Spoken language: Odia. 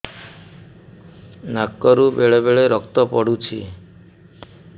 ନାକରୁ ବେଳେ ବେଳେ ରକ୍ତ ପଡୁଛି